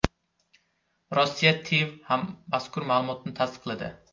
Rossiya TIV ham mazkur ma’lumotni tasdiqladi.